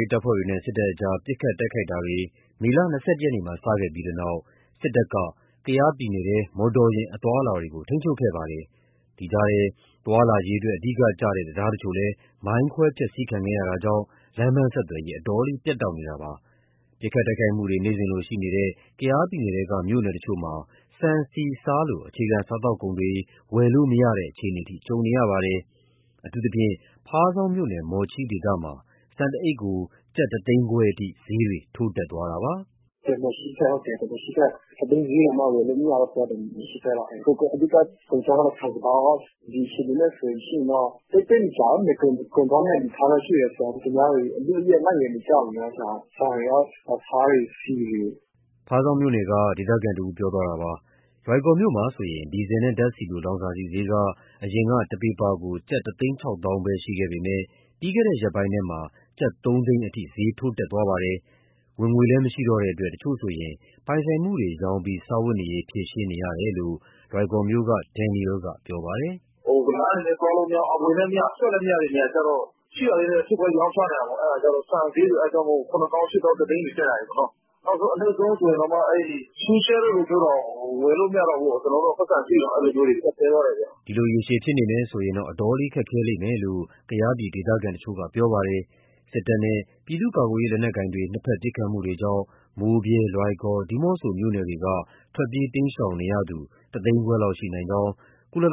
ေးတပ်ဖွဲ့တွေနဲ့ စစ်တပ်ကြား ပစ်ခတ် တိုက်ခိုက်မှုတွေ မေလ ၂၁ ရက်နေ့မှာ စခဲ့ပြီးနောက် စစ်တပ်က ကယားပြည်နယ်ထဲ မော်တော်ယာဉ် အသွားအလာတွေ ထိန်းချုပ်ခဲ့ပါတယ်။ ဒီကြားထဲ သွားလာရေးအတွက် အဓိကကျတဲ့ တံတားတချို့လည်း မိုင်းခွဲ ဖျက်ဆီးခံခဲ့ရတာကြောင့် လမ်းပန်းဆက်သွယ်ရေး အတော်လေး ပြတ်တောက်နေတာပါ။ ပစ်ခတ်တိုက်ခိုက်မှုတွေ နေ့စဉ်လိုရှိနေတဲ့ ကယားပြည်နယ်ထဲက တချို့မြို့နယ်တွေမှာ ဆန်၊ ဆီ၊ ဆားလို အခြေခံ စားသောက်ကုန်တွေ ဝယ်လို့မရတဲ့ အခြေအနေအထိ ကြုံနေရပါတယ်။ အထူးသဖြင့် ဖားဆောင်းမြို့နယ်၊ မော်ချီးဒေသမှာ ဆန်တအိတ်ကို ကျပ် ၁၅၀,၀၀၀ အထိ ဈေးတွေထိုးတက်သွားတာပါ။ “ဟုတ်တယ် မော်ချီးဘက်၊ ၁ သိန်းဈေးတောင်မှ ဝယ်လို့မရဘူး အဲဒီလို။ အဓိက ကုန်ခြောက်ရော၊ ဆန်စပါးရော။ ဒီအခြေအနေနဲ့ဆိုလို့ရှိရင်တော့ သိပ်မကြာဘူး... ကုန်သွားမယ့် အနေအထားတော့ ရှိတယ်၊ သူများတွေ အလုအယက် လိုက်ဝယ်နေကြပြီ။ ဆန်တွေ၊ ဆားတွေ၊ ဆီတွေ။” ဖားဆောင်းမြို့နယ်က ဒေသခံတဦးပြောသွားတာပါ။ လွိုင်ကော်မြို့မှာဆိုရင် ဒီဇယ်နဲ့ ဓာတ်ဆီလို လောင်စာဆီဈေးက အရင်က တပီပါကို ကျပ် ၁၆၀,၀၀၀ ပဲရှိပေမဲ့ ပြီးခဲ့တဲ့ရက်ပိုင်းထဲမှာ ကျပ် ၃၀၀,၀၀၀ အထိ ဈေးထိုးတက်သွားပါတယ်။ ဝင်ငွေလည်း မရှိတော့တဲ့အတွက် တချို့ဆိုရင် ပိုင်ဆိုင်မှုတွေ ရောင်းချပြီး စားဝတ်နေရေး ဖြေရှင်းရကြောင်း လွိုင်ကော်မြို့က ဒန်နီရဲလ်က ပြောပါတယ်။ “လမ်းတွေလည်း သွားလို့မရဘူး၊ အဝင်လည်းမရ အထွက်လည်း မရတဲ့ နေရာတွေကျ ရှိတာလေးတွေ ထုခွဲရောင်းချနေရတာပေါ့။ အဲဒါမို့ ဆန်ဈေးဆိုရင် ၇၀,၀၀၀၊ ၈၀,၀၀၀၊ ၁၀၀,၀၀၀ တွေ တက်လာတာ။ အနိမ့်ဆုံးဆိုရင်တောင်မှ ရှုးရှဲ တောင် ဝယ်လို့မရတော့ဘူး။ ပိုက်ဆံရှိရင်တောင်မှ ကျပ်တည်းသွားတယ်။” ဒီလိုရေရှည်ဖြစ်နေမယ်ဆိုရင် အတော်လေး ခက်ခဲလိမ့်မယ်လို့ ကယားဒေသခံတချို့က ပြောပါတယ်။ စစ်တပ်နဲ့ ပြည်သူ့ကာကွယ်ရေး လက်နက်ကိုင်တွေ နှစ်ဘက် ပစ်ခတ်မှုတွေကြောင့် မိုးဗြဲ၊ လွိုင်ကော်၊ ဒီးမော့ဆို မြို့နယ်တွေက ထွက်ပြေးတိမ်းရှောင်နေရသူဟာ ၁၅၀,၀၀၀ လောက်ရှိနိုင်ကြောင်း ကုလစာ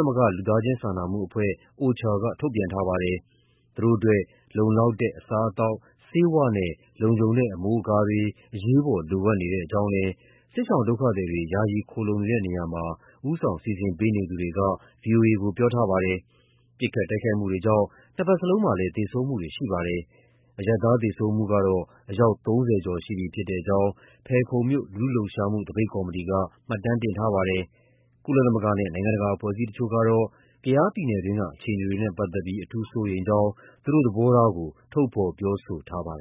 နာမှုအဖွဲ့ OCHA ကထုတ်ပြန်ထားပါတယ်။ သူတို့အတွက် လုံလောက်တဲ့ အစားအသောက်၊ ဆေးဝါးနဲ့ လုံခြုံတဲ့ အမိုးအကာတွေ အရေးပေါ် လိုအပ်နေကြောင်းလည်း စစ်ရှောင်ဒုက္ခသည်တွေ ယာယီခိုလှုံနေတဲ့နေရာမှာ ဦးဆောင်စီစဉ်ပေးနေသူတွေက ဗွီအိုအေကို ပြောပါတယ်။ ပစ်ခတ် တိုက်ခိုက်မှုတွေကြောင့် နှစ်ဘက်စလုံးမှာ သေဆုံးမှုတွေ ရှိပါတယ်။ အရပ်သားသေဆုံးမှုကတော့ အယောက် ၃၀ ကျော်ရှိကြောင်း ဖယ်ခုံမြို့ လူထုလှုပ်ရှားမှု သပိတ်ကော်မတီက မှတ်တမ်းတင်ထားတာပါ။ ကုလသမဂ္ဂနဲ့ နိုင်ငံတကာ အဖွဲ့အစည်းတချို့ကတော့ ကယားပြည်နယ်တွင်းက အခြေအနေတွေနဲ့ ပတ်သက်ပြီး အထူးစိုးရိမ်ကြောင်း သူတို့ရဲ့ သဘောထားကို ထုတ်ဖော်ပြောဆိုထားပါတယ်